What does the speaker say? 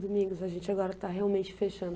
Domingos, a gente agora está realmente fechando.